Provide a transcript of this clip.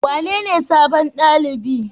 Wanene sabon ɗalibin?